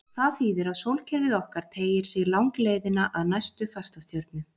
Það þýðir að sólkerfið okkar teygir sig langleiðina að næstu fastastjörnu.